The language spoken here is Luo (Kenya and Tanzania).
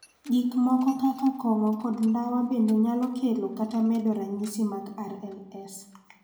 Gik moko kaka kong�o kod ndawa bende nyalo kelo kata medo ranyisi mag RLS.